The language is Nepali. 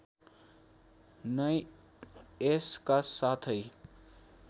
नै यसका साथै